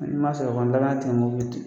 Hali n'i man sɔrɔ kɔni danaya